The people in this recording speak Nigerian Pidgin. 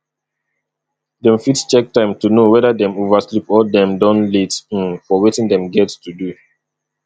dem fit check time to know weda dem oversleep or dem don late um for wetin dem get to do